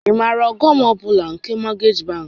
Ị maara ọghọm ọ bụla nke mọgeeji bankị?